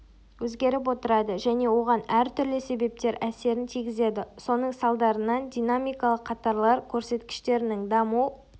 өзгеріп отырады және оған әр түрлі себептер әсерін тигізеді соның салдарынан динамикалық қатарлар көрсеткіштерінің даму